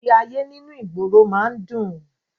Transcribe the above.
Ìgbé ayé nínú ìgboro má ń dùn